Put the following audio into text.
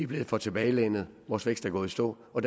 blevet for tilbagelænede vores vækst er gået i stå og